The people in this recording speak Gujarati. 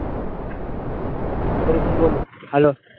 હેલ્લો